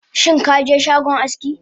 Shinkaje shagon aski?